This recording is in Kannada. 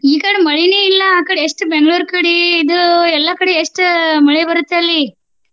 ಈಕಡೆ ಮಳಿನೆ ಇಲ್ಲ ಆಕಡೆ ಎಷ್ಟು Bangalore ಕಡೆ ಇದು ಎಲ್ಲ ಕಡೆ ಎಷ್ಟು ಮಳಿ ಬರುತೆ ಅಲ್ಲಿ.